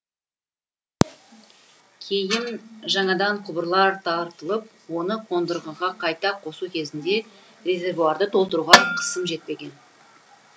кейін жаңадан құбырлар тартылып оны қондырғыға қайта қосу кезінде резервуарды толтыруға қысым жетпеген